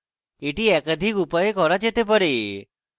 এটি একাধিক উপায়ে করা যেতে পারে